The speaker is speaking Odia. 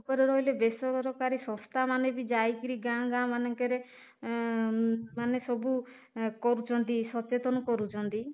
ଉପରେ ରହିଲେ ବେସରକାରୀ ସଂସ୍ଥା ମାନେ ବି ଯାଇକିରି ଗାଁ ଗାଁ ମାନେ ଙ୍କେ ରେ ଉମ ମାନେ ସବୁ କରୁଛନ୍ତି ସଚେତନ କରୁଛନ୍ତି